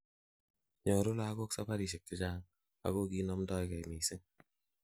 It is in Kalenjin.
nyoru lagok sabarishek chechang, ako kinomdogei missing